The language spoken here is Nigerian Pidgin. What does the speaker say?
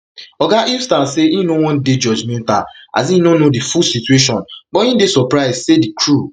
oga eustance say im no wan dey judgemental as im no know di full situation but im dey surprised say di crew